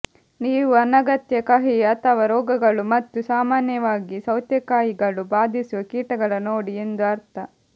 ನೀವು ಅನಗತ್ಯ ಕಹಿ ಅಥವಾ ರೋಗಗಳು ಮತ್ತು ಸಾಮಾನ್ಯವಾಗಿ ಸೌತೆಕಾಯಿಗಳು ಬಾಧಿಸುವ ಕೀಟಗಳ ನೋಡಿ ಎಂದು ಅರ್ಥ